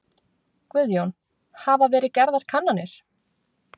Guðjón: Hafa verið gerðar kannanir?